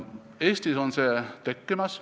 Eestis on see tekkimas.